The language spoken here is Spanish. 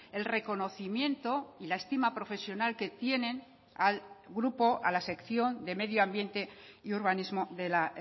el reconocimiento y la estima profesional que tienen al grupo a la sección de medio ambiente y urbanismo de la